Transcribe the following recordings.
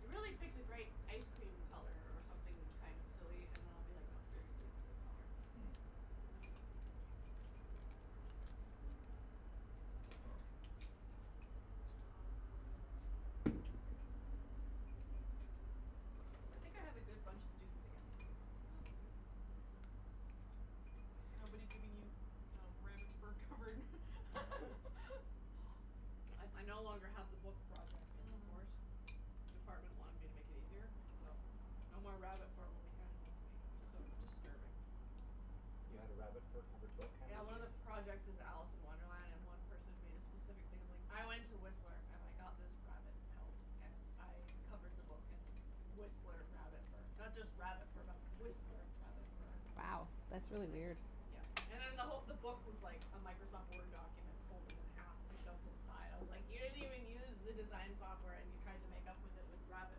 you really picked a great ice cream color, or something kind of silly. And I'll be like, no, seriously, it's a good color. Mhm. Too much. Oh this is so good. I think I have a good bunch of students again this year, so it's That's good. good. Nobody giving you rabbit fur covered I I no longer have the book project in the Mm. course. Department wanted me to make it easier, You're so welcome. no more rabbit fur will be handed in to me. That was That's so cool. disturbing. You had a rabbit fur covered book Yeah, one of the projects is Alice in Wonderland, and one person made a specific thing of like, I went to Whistler and I got this rabbit pelt and I covered the book in Whistler rabbit fur. Not just rabbit fur but Whistler rabbit fur. Wow, that's It's really like, weird. yeah And then the who- the book was like a Microsoft Word document folded in half and shoved inside. I was like, you didn't even use the design software and you tried to make up with it with rabbit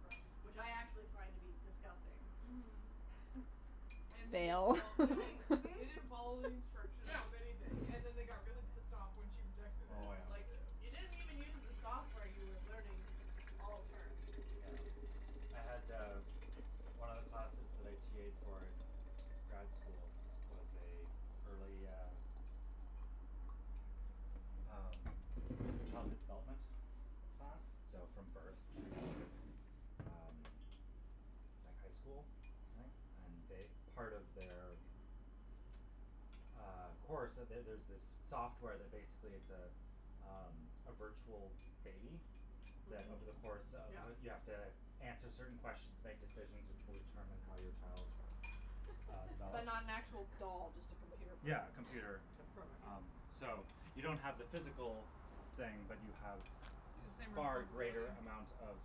fur, which I actually find to be disgusting. Mhm. And they didn't Fail. fol- they didn't Mhm, they didn't follow mhm. the instructions Yeah. of anything and then they got really pissed off when she rejected it, Oh, I was yeah. like, you yeah. didn't even use the software you were learning all term. Yeah. I had, uh, one of the classes that I TA'ed for in grad school was a early, uh, um, like, childhood development class, so from birth to, um, like, high school, I think. And they part of their, uh, course So there's this software that basically it's a, um, a virtual baby that Mhm. over the course of Yeah. You have to answer certain questions, make decisions which will determine how your child, uh, But develops. not an actual doll, just a computer Yeah, program. computer, The program, um, yeah. so you don't have the physical thing, but you have The same far greater responsibility. amount of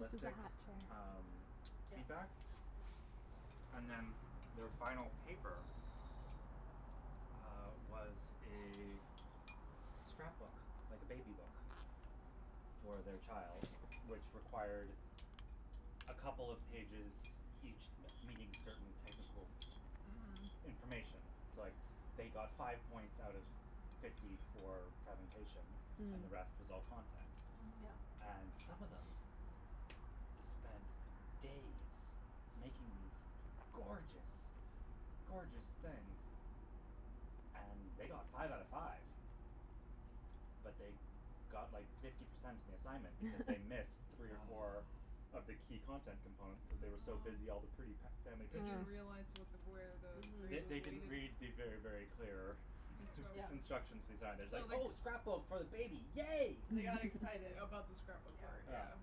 This is the half chair. um, Yeah. feedback. And then their final paper uh, was a scrapbook, like a baby book for their child, which required a couple of pages, each me- meeting certain technical Mhm. Mhm. information. So, like, they got five points out of fifty for presentation and the rest Mm. was all content. Mhm. Yeah. And some of them spent days making these gorgeous, gorgeous things and they got five out of five But they got like fifty percent on the assignment because they missed three or four Oh. of the key content components cuz they were so busy all the pretty Oh. fa- family They didn't pictures. realize Hmm. what the where the They grade was they Mhm. didn't weighted. read the very, very clear Yeah. Instructions. instructions design. It was like, So they c- "Oh, scrapbook for the baby, yay!" They got excited. About the scrapbook part, Yeah. Yeah. yeah.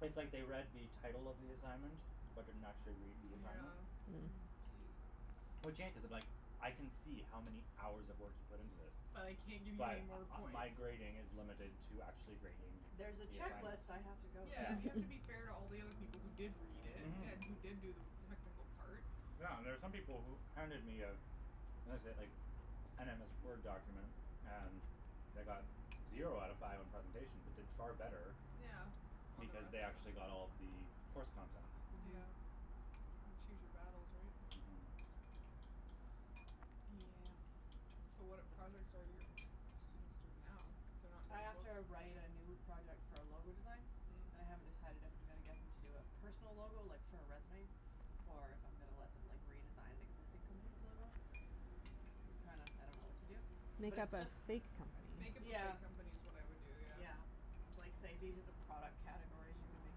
It's like they read the title of the assignment, but didn't actually read the assignment. Yeah. Hmm. Geez. Which, yeah, cuz if, like, I can see how many hours of work you put into this, But I can't give you any but more uh points. my grading is limited to actually grading There's a the assignment. checklist I have Yeah. to go Yeah, Yeah. through and you here. have to be fair to all the other people who did read it Mhm. and who did do the technical part. Yeah, and there's some people who handed me a what is it, like, an MS Word document and they got zero out of five on presentation but did far better Yeah, on the because rest they of actually it. got all of the course content. Mhm. Yeah. Kind of choose your battles, right? Mhm. Yeah. Yeah. So, what projects are your students doing now? They're not I doing a have book? to write a new project for a logo design, and I haven't Mm. decided if I'm gonna get them to do a personal logo, like, for a resume, or if I'm gonna let them, like, redesign an existing company's logo. I'm trying to I don't know what to do. But Make it's up a just fake Make company. up a Yeah. fake company is what I'd do, yeah. Yeah. Like, say these are the product categories you can make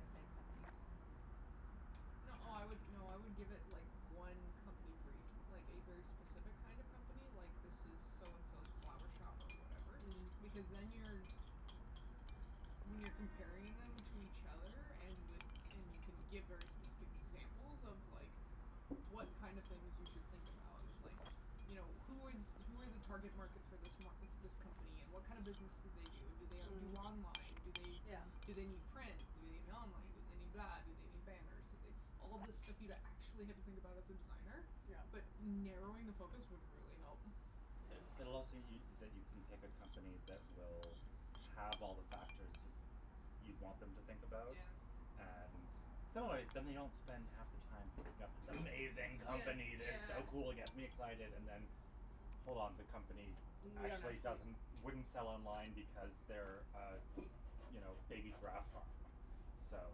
a fake company for and No, I would, no, I would give it, like, one company brief, like a very specific kind of company, like, this is so and so's flower shop or whatever because Mm. then you're When you're comparing them to each other and with and you can give very specific examples of, like, what kind of things you should think about and, like, you know, who is who are the target market for this m- this company and what kind of business do they do and do they do Mm. online, do they Yeah. do they need print, do they need online, do they need that, do they need banners, do they All this stuff you'd actually have to think about as a designer, Yeah. but narrowing the focus would really help. Yeah. It it'll also y- that you can pick a company that will have all the factors that you'd want them to think about. Yeah. And so, anyway, then they don't spend half the time thinking up this amazing Yes, company that's yeah. so cool, gets me excited and then hold on, the company Yeah, and actually actually doesn't wouldn't sell online because they're a, you know, a baby giraffe farm, so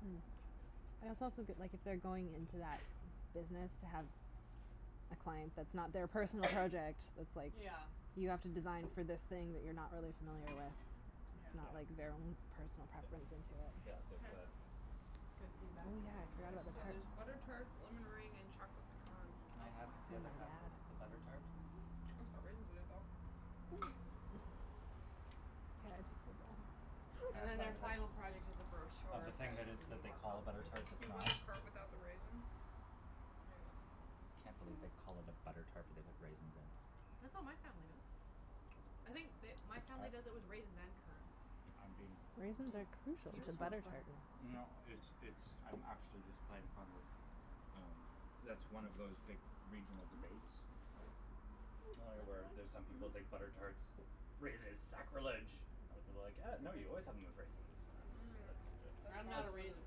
Hmm. And I it's think also that good, that like, if they're going into that business to have a client that's not their personal project that's, like, Yeah. you have to design for this thing that you're not really familiar with, Yeah. it's not Yeah. like their own personal Y- preference into it. yeah, there's Okay. that. That's good Oh, feedback. yeah, I forgot There's about the so there's butter tarts. tart, lemon meringue and chocolate pecan. Can Oh, I have wow. Oh, the other half of the yeah. butter tart? Mm mhm. It's got raisins in it, though. Hmm. Can I And have a then their bite of it, final product is a of the brochure thing that that's gonna be that they more call a butter complicated, tart that's but You want not? the part without the raisin? There you I go. can't believe they call it a butter tart but they put raisins in it. That's what my family does. I think the my family does it I with raisins and currants. I'm being Raisins are Yeah. crucial Do you Or- to just n- want butter butter. tarts. No, it's it's, I'm actually just playing fun that, um that's one of those big regional Mhm. debates, Mm, lemon where one? there's some people think Mhm. butter tarts, raisins is Oh, sacrilege. I would be like, uh these no, are very you good. always have them with raisins. Mm. And That I'm as not a chocolate one is raisin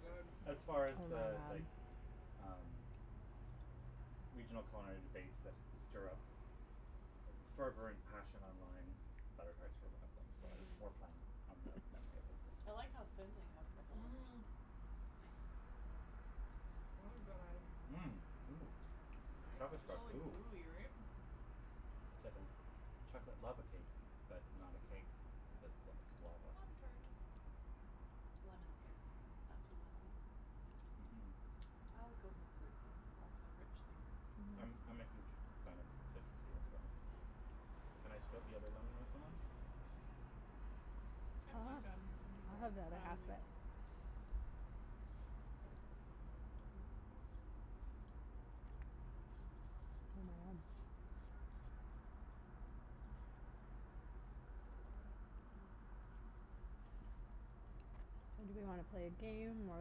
good. so as Oh, far as my the, god. like, um, regional Mm. culinary debates that stir up fervent passion online, butter tarts were one of them, so I was Mhm. more playing on the memory of the thing. I like how thin they have the holders. Mhm. That is good item. Mmm. Ooh, Right. chocolate's It's Right? got all goo. gooey, right? Mmm. It's like a chocolate lava cake but not a cake but lots of lava. Lava tart. Lemon's good. Not too lemony. Mhm. I always go for the fruit things over the rich things. Mhm. I'm I'm a huge Mm. fan of citrusy as well. Yeah. Can I split the other lemon with someone? I'm I'll I'm have done. Do I'll whatever. have the I other only half of need it. one. Oh, my god. So, do we wanna play a game or,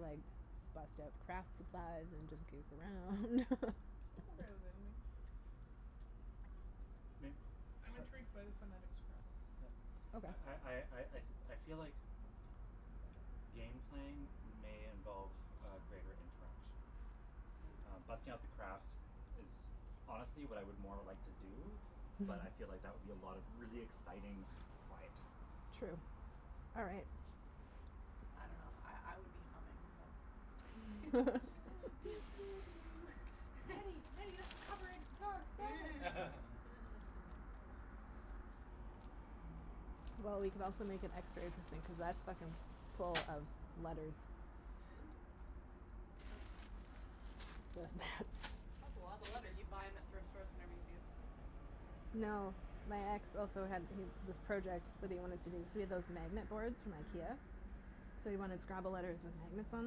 like, bust out craft supplies and just goof around? I'm okay with anything. May- I'm par- intrigued by the phonetic Scrabble. yeah I I Okay. I I I feel like game playing may involve a greater interaction. Um, Mm. busting out the crafts is honestly what I would more like to do, but I feel like that would be a lot of really exciting quiet. True. All right. I don't know, I I would be humming, but Nattie, Nattie, that's a copyrighted song, stop it! Well, we could also make it extra interesting cuz that's fucking full of letters. Ooh. So is that. That's a lotta You but letters. you buy them at thrift stores whenever you see them? No, my ex also had he this project that he wanted to do. So he had those magnet boards from Mm. Ikea, Mm. so he wanted Scrabble letters with magnets on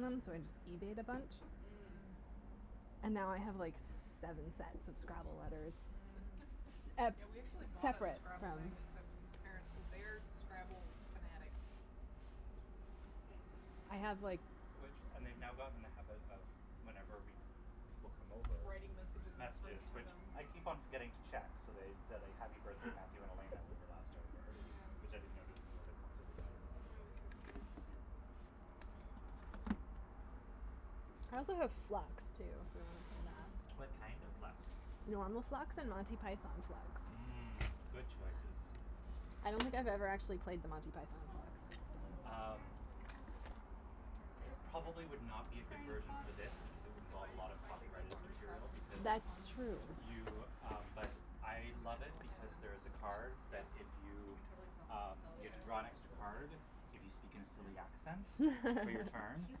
them, so I just eBayed a bunch Mm. Mm. and now I have, like, seven sets of Scrabble letters. Mhm. S- ep- Yeah, we actually bought a separate Scrabble from. magnet set for his parents cuz they are Scrabble fanatics. Hmm. I have, like Which and they've now gotten in the habit of, whenever we c- people come over, Writing messages on the fridge messages for which them. I keep on forgetting to check, so they said "happy birthday, Matthew and Elena" when we were last over, which Yeah. I didn't notice until they pointed it out on the last That was day. so cute. Hmm. I also have Flux, too, if we want to play What Mm. that. kind of Flux? Normal Flux and Monty Python Flux. I Mm, don't good I choices. don't know what any I don't think of I've these ever are. actually played the Monty Python Flux on Oh, look this at the little ca- Um, thing. the cactus in the winter it Christmas probably would not cactus. be a good Tiny version pot for for this because it that. would If involve a I lot if of I take that copyrighted pottery class material in because Turo, That's I'm just going true. to throw plant you, pots um, but I and That's a love then good it call. and because then there is a put plants in card them. that Yep. if You you, can totally sell them um, sell you it have for to more draw an when there's a extra Yeah. little plant card, in it. if you speak in a silly accent They're for your so It's so turn cute, cute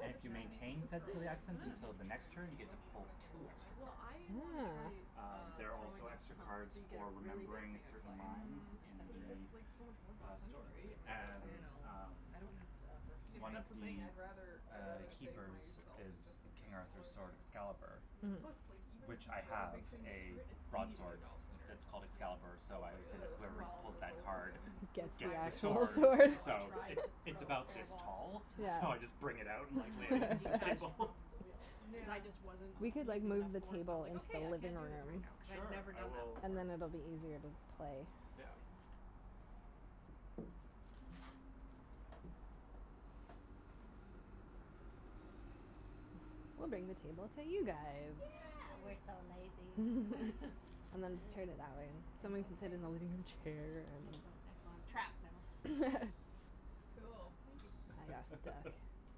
And like if such you an that. easy thing maintain to said throw, silly like, it's accent Mm. easier until to the next turn, right, turn, you you get to don't need to pull put a handle two on it. extra Well, cards. I wanna try, Oh. Um, uh, there are also throwing off the extra hump cards so you get a for really big remembering a thing of certain clay lines Mm, and in but it center it. just, like, so much work the, to uh, center something story like that, and, though. I know. um I don't have the upper Yeah, but One of strength. that's the thing. the, I'd rather uh, I'd rather save keepers myself That's is and just center King Arthur's smaller sword, things. Excalibur, Mm. Plus, like, Mhm. even if which you I throw a have big thing and center a it, it's easy to get broadsword it off center, that's called Yeah. Excalibur, so so it's I like, always say that oh, I whoever have Well, to do pulls this all that over card again. with Gets my gets the the wrist, actual two sword, weeks sword. ago I so tried it to it's throw about four this balls. tall, so I just Yeah. bring it out and, like, lay Two it of them against the detached table. from the wheel cuz I just wasn't Um. We Yeah. could, like, using enough move the force. I was table like, into okay, the I can't living do this right room. now, cuz I had Sure, never I done that will And before. then it'll be easier to So, play. Yeah. silly. We'll bring the table to you guys. Yeah, we're Yay. so lazy. And then just turn it that way. Someone Angle, can sit in the angle. living room chair and Excellent, excellent, trapped now. Cool. Thank you. Now you're stuck.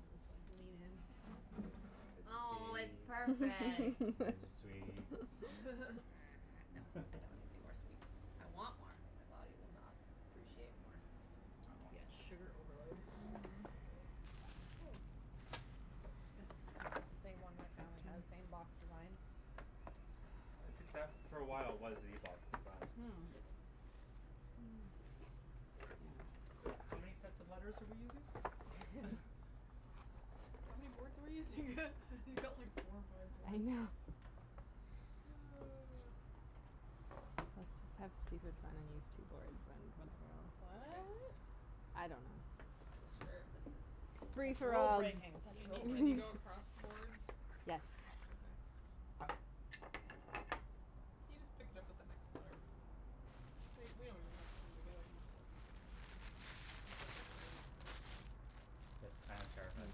I'll just like lean in. There's Oh, your it's tea. perfect. There's your sweets. uh-huh, no, I don't need anymore sweets. I want more. My body will not appreciate more. It'll Oh. be at sugar overload. Mhm. That's the same one my family has, same box design. I think that for a while was the box design. Hmm. So, how many sets of letters are we using? How many boards are we using? You've got like four or five I boards. know. Oh. Let's just have stupid fun on these two boards, then when we're all Okay. What? I don't know, This is this Sure. this is is this this is is free such for rule all. breaking, Can such you rule can you breaking. go across the boards? Yes. Okay. Ho- okay. You just pick it up with the next letter. We we don't even have to put them together, you just have you just have to know that it's the next row. This kind of terrifies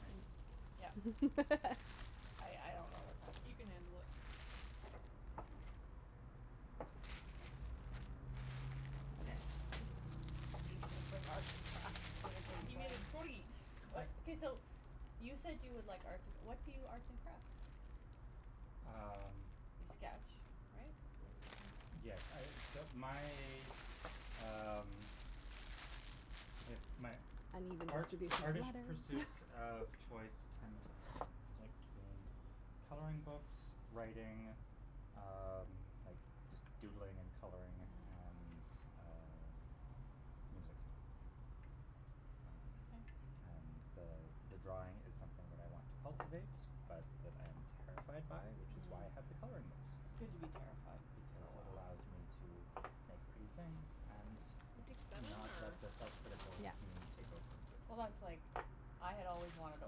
me. I I don't know what's happening. He can handle it. He's just gonna bring arts and crafts to the game He made plan. a totey. I Okay, so, you said you would like arts and cr- what do you arts and craft? Um You sketch, right? Yes, I, so my, um, I guess my Uneven art- distribution of artish letters. pursuits of choice tend to to between coloring books, writing, um, like just doodling and coloring and, uh, music. Um, and the, uh, the the drawing is something that I want to cultivate, but that I am terrified by, which is why I have the Mhm. coloring books, It's good to be terrified for because a while. it allows me to make pretty things and We take seven not or let the self critical Yeah. me take over. Well, that's like, I had always wanted to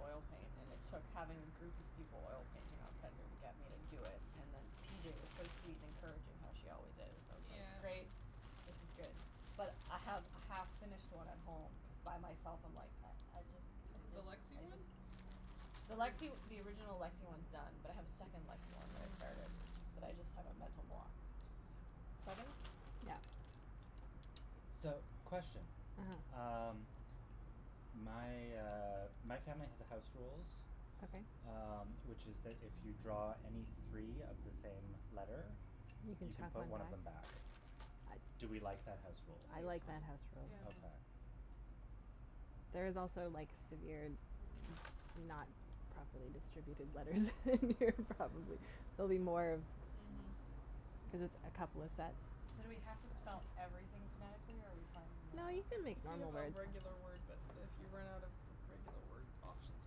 oil paint and it took having a group of people oil painting on pender to get me to do it. And then P J was so sweet and encouraging, how she always is. I was like, Yeah. great, this is good. But I have a half finished one at home cuz by myself I'm like, I I just, I Is it the just, Lexie I one? just. The Lexie the original Lexie one's done, but I have a second Lexie one that I started, Mm. but I just have a mental block. Seven? Yeah. So, question. uh-huh. Um, my, uh, my family has a house rules, Okay. um, which is that if you draw any three of the same letter, You you can can chuck put one one of them back? back. I Do we like that house I think rule? I like that house so, yeah. rule. Okay. Mm. There is also like severe not properly distributed letters in here, probably. There'll be more Mhm. cuz it's a couple of sets. So do we have to spell everything phonetically, or are we playing No, normal you something can make If you normal have a words. regular word, but if you run out of regular word options,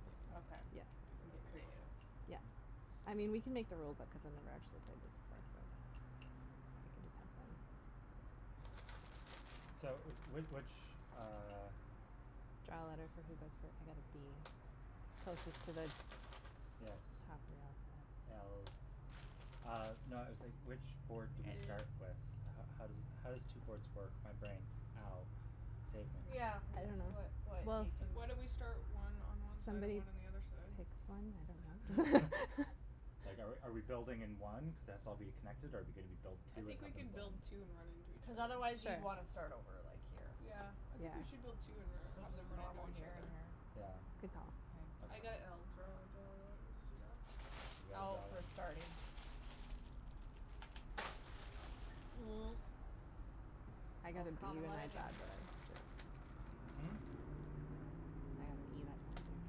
maybe. Okay. Yeah. You can do You can whatever get you want. creative. Yeah. Mm. I mean, we can make the rules up cuz I've never actually played this before, so we can just have K fun. So, w- which, uh Draw a letter for who goes fir- I got a b. Closest Okay. to the top Yes. of the alphabet. L Uh no, I was like, which board do we start with? L How how does it how does two boards work? My brain. Ow. Save me. Yeah, I it's don't what know. what Well, you can Why don't we start one on one side and somebody one on the other side? picks one, I don't know. Like, are we are we building in one cuz its all'll be connected, or are we gonna be build I two and think we have them can build blend? two and run into each Cuz other. otherwise you'd Sure. want to start over, like, here. Yeah, I Yeah. think we should build two So, and let let them just run into normal each here and other. here? Yeah? Good call. I Okay. K. got l. Draw, draw a letter. Did you go? You guys Oh, all for in starting. I got a Most b common when letter I in the grabbed alphabet. one. Mm? I got a b that time.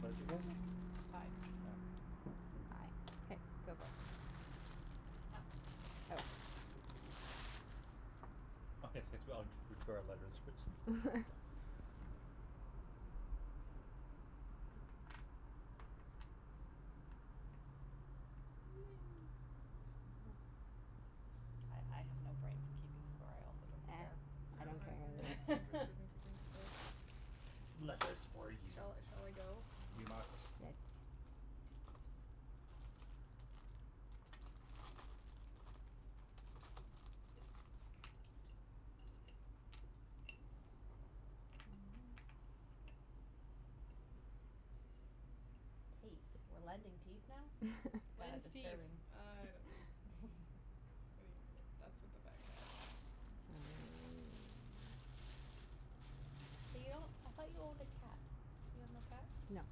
What'd you get? Tie. Yeah? I. Okay, go for it. Oh. Oh. Oh, yes yes, we all d- drew our letters which I saw. I I have no brain for keeping score. I also don't Eh, care. I I I don't don't don't know care care if Okay. we're either way. interested in keeping score. Letters for you. Shall I shall I go? You must. Yes. Teeth? We're lending teeth now? That is Lends teeth. disturbing. I don't know. Wait, that's what the bag had. Ooh. You I thought you owned a cat. You have no cat? No.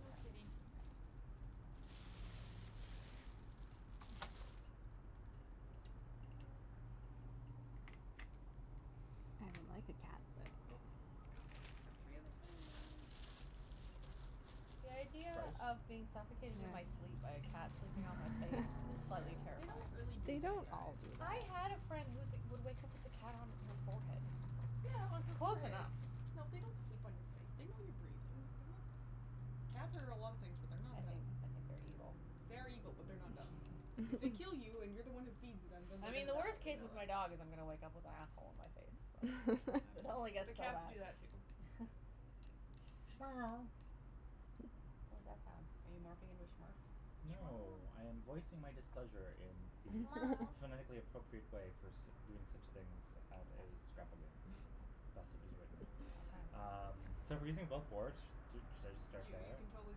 No kitty. I would like a cat, but Oh. Oh. Got got three of the same one. The idea Trout? of being suffocated in my sleep Yes. by a cat sleeping on my face is slightly They don't terrifying. really do They that, don't all guys. do I had a that. friend who would wake up with a cat on her forehead. Yeah, on It's her close forehead. enough. No, they don't sleep on your face. They know you're breathing. They're not Cats are a lot of things, but they're not I think dumb. I think they're evil. They are evil, but they're not dumb. If they kill you and you're the one who feeds them, then they're I mean, gonna the die, worst they case know with my that. dog is I'm gonna wake up with asshole on my face. I Like, don't it know. only The gets so cats bad. do that, too. What that sound? Are you morphing into a Smurf? No, I am voicing my displeasure in the phonetically appropriate way for sit- doing such things at a Scrabble game. Thus Okay. it was written. Okay. Um, so we're using both boards? Do should I just start You you there? can totally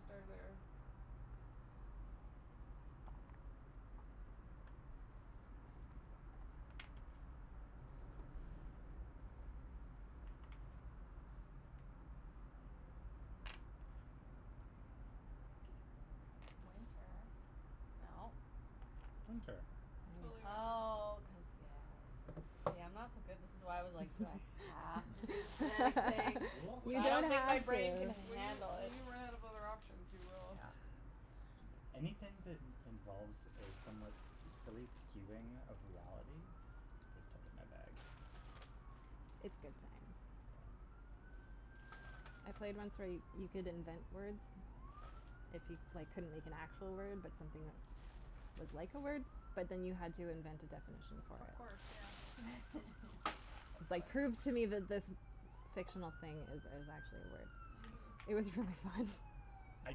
start there. Winter. No. Winter. Totally winter. Nice. Oh, cuz, yes. See, I'm not so good. This is why I was like, do I have to do the phonetic thing? We When I you're don't don't think my have brain can to. When you handle when it. you run out of other options, you will. Yeah. a bit. Anything that in- involves a somewhat silly skewing of reality is totally my bag. It's good times. Yeah. I played once where you could invent words if you, like, couldn't make an actual word but something that was like a word, but then you had to invent a definition for Of it. course, yeah. Like, prove to me That's fun. that this fictional thing is is actually a word. It Mhm. was really fun. I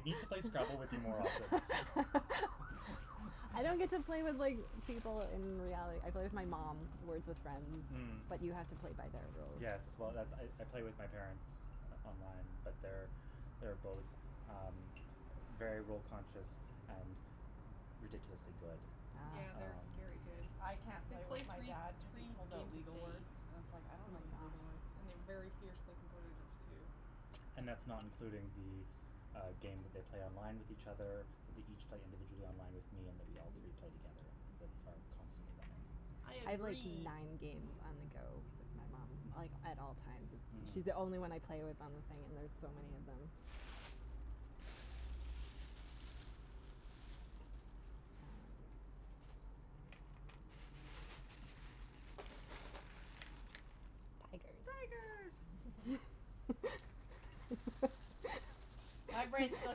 need to play Scrabble with you more often. I don't get to play with, like, people in reality. I play with my mom, Words With Friends, Mm. but you have to play by their rules. Yes. Well, that's I I play with my parents on- online, but they're, they're both, um, very rule conscious and ridiculously good. Yeah, they're Ah. Um scary good. I can't They play with play my three dad cuz he three pulls out games a legal day. words and it's like, I don't know Oh, these legal my words. gosh. And they're very fiercely competitives, too. And that's not including the, uh, game that they play online with each other, that they each play individually online with me and that we all three play together that are constantly running. I I have, like, agree. nine games on the go with my mom, Hmm. like, at all times. Mhm. She's the only one I play with on the thing and there's so many of them. Tigers. Tigers. My brain still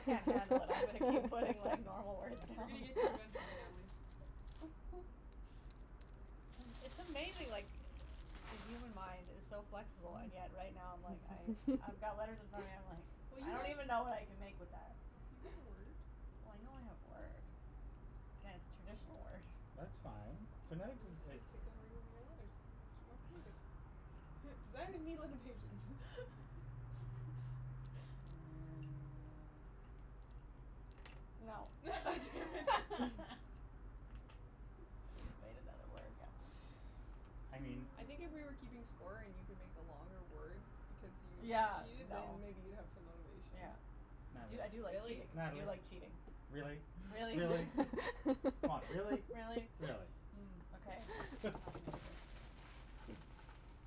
can't handle it. I'm gonna keep putting like normal words We're gonna down. get to you eventually, Natalie. It's amazing, like, the human mind is so flexible, and yet right now I'm like I I've got letters in front of me, I'm like Well, I you don't even when know what I can make with that. You got a word. Well, I know I have a word. Yeah, it's a traditional word. That's fine. Phonetic doesn't Just it gonna take your letters, make you more creative. Designers need limitations. Mm. No. Damn it. I just made another word, yeah. I mean I think if we were keeping score and you can make a longer word because you Yeah, cheated, then no. maybe you'd have some motivation. Yeah. I do I do like Natalie. Really? cheating, I Natalie, do like cheating. really? Really? Really? Come on, really? Really? Really? Mm, okay.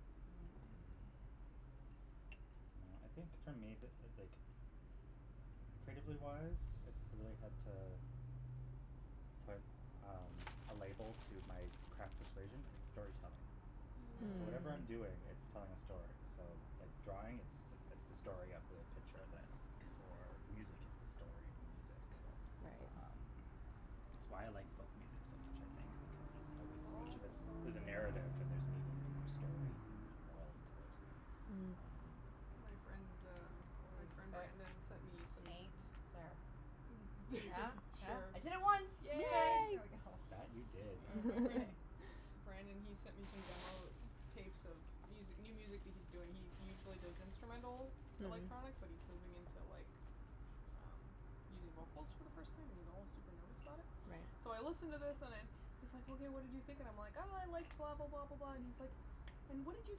Mm. Mm. Well, I think for me, the like, creatively wise, if I really had to put, um, a label to my craft persuasion, it's storytelling. So whatever I'm Mm. doing, Mm. it's Mm. telling a story. So, like, drawing, it's it's the story of the picture that I like or music it's the story of the music. Um, Right. it's why I like folk music so much, I think, because there's always so much All of the it. story There's a narrative and there's meaning in their stories and there's a world to it. Mm. Um My friend, um, my friend Brandon sent me some Taint. There. Yeah? Yeah? I did it Sure. once. Okay, Yay. Yay. there we go. That, you did. Uh my friend Brandon, he sent me some demo tapes of music new music that he's doing. He he usually does instrumental Mm. electronic, but he's moving into, like, um, using vocals for the first time and he's all super nervous about it. So I Right. listen to this and I'm he's like, hey, what did you think, and I'm like, I like blah, blah, blah, blah, blah, and he's like, and what did you